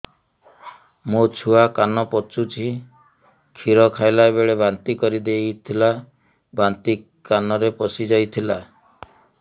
ମୋ ଛୁଆ କାନ ପଚୁଛି କ୍ଷୀର ଖାଇଲାବେଳେ ବାନ୍ତି କରି ଦେଇଥିଲା ବାନ୍ତି କାନରେ ପଶିଯାଇ ଥିଲା